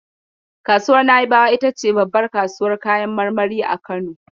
Kasuwar Na'ibawa ita ce babbar kasuwar kayan marmari a Kano.